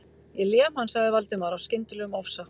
Ég lem hann.- sagði Valdimar af skyndilegum ofsa